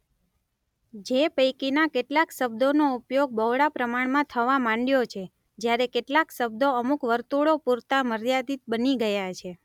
જે પૈકીના કેટલાક શબ્દોનો ઉપયોગ બહોળા પ્રમાણમાં થવા માંડ્યો છે; જ્યારે કેટલાક શબ્દો અમુક વર્તુળો પૂરતા મર્યાદિત બની ગયા છે.